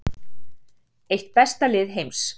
Eitt besta lið heims